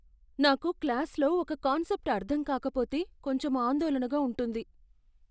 నాకు క్లాస్ లో ఒక కాన్సెప్ట్ అర్థం కాకపోతే కొంచెం ఆందోళనగా ఉంటుంది.